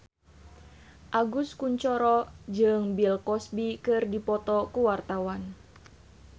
Agus Kuncoro jeung Bill Cosby keur dipoto ku wartawan